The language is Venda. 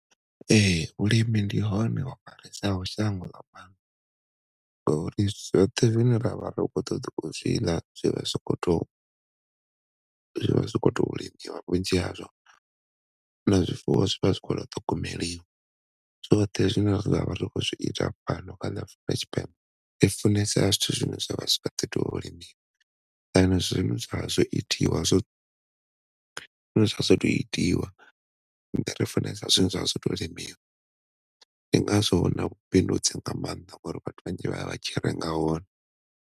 Ehe, vhulimi ndi hone ho hwalesaho shango nga maanḓa ngauri zwoṱhe zwine ravha ri khou ṱoḓa u zwi ḽa zwi vha si khou tou vhunzhi hazwo hune zwifuwo zwi vha zwi khou tou ṱhogomelwa zwoṱhe zwine ra vha ri khou zwi ita fhano kha ḽa Afurika Tshipembe i funesa zwithu zwine zwa vha zwi khou ḓi tou limiwa and zwine zwa vha zwo tou itiwa, ri funesa zwine zwa vha zwo tou limiwa ndi ngazwo na vhubindudzi huna mannḓa ngauri vhathu vhanzhi vhaya vha tshi renga hone.